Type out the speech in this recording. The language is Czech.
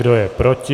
Kdo je proti?